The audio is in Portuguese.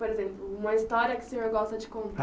Por exemplo, uma história que o senhor gosta de contar?